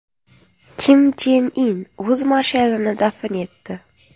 Kim Chen In o‘z marshalini dafn etdi .